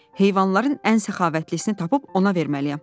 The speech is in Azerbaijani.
Heyvanların ən səxavətlisini tapıb ona verməliyəm.”